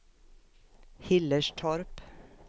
Hillerstorp